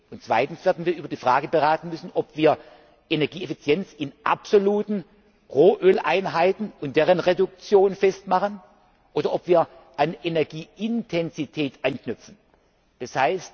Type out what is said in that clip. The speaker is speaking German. Und zweitens werden wir über die Frage beraten müssen, ob wir Energieeffizienz an absoluten Rohöleinheiten und deren Reduktion festmachen, oder ob wir an Energieintensität anknüpfen, d.